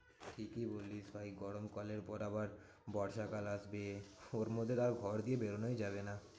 ঠিকই বলিস ভাই গরম কালের পর আবার বর্ষাকাল আসবে। ওর মধ্যে আর ঘর দিয়ে বেরোনোই যাবে না।